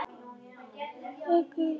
Bakaðir laukar